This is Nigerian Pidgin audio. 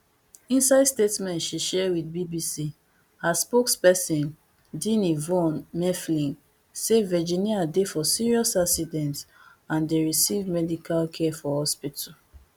inside statement she share with bbc her spokesperson dini von mueffling say virginia dey for serious accident and dey receive medical care for hospital